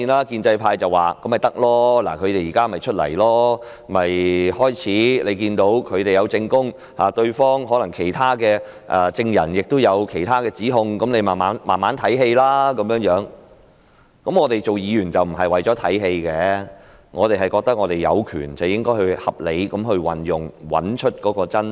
建制派說既然他們現在出現了，便應聽聽他們的證供，可能其他證人亦有其他的指控，你們可以慢慢欣賞這台戲；但我們擔任議員不是為了看戲，我們覺得應該合理地運用我們的權力，以找出真相。